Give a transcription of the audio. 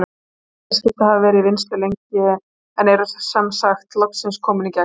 Þessi félagsskipti hafa verið í vinnslu lengi en eru sem sagt loksins komin í gegn.